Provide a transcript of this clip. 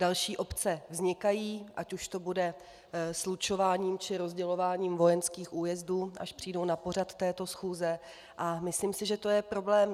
Další obce vznikají, ať už to bude slučováním, či rozdělováním vojenských újezdů, až přijdou na pořad této schůze, a myslím si, že je to problém.